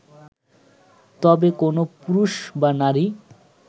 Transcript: তবে কোন পুরুষ বা নারী